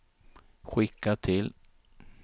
skicka till